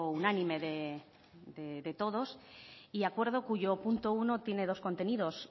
unánime de todos y acuerdo cuyo punto uno tiene dos contenidos